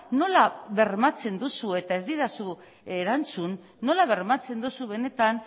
nola bermatzen duzu eta ez didazu erantzun nola bermatzen duzu benetan